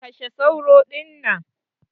Kashe sauro dinnan!